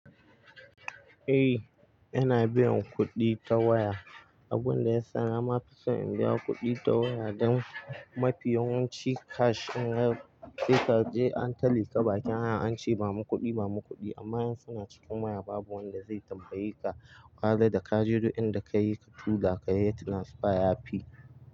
Eh, ina biyan kuɗi ta waya. Abun da ya sa na ma fi so in biya kuɗi ta waya don mafi yawanci cash in ka je ka je an ta lika bakin hanya an ce ba mu kuɗi, ba mu kuɗi amma in suna cikin waya babu wanda zai tambaye ka. Kaga da ka je dukin da ka yi ka tula ka yi tran sfer yafi.